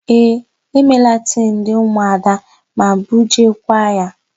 Ee, e meela tii ndị ụmụada ma bujeekwa ya.